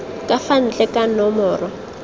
ka fa ntle ka nomoro